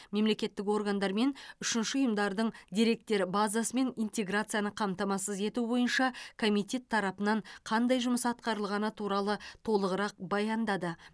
мемлекеттік органдар мен үшінші ұйымдардың деректер базасымен интеграцияны қамтамасыз ету бойынша комитет тарапынан қандай жұмыс атқарылғаны туралы толығырақ баяндады